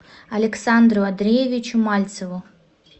александру андреевичу мальцеву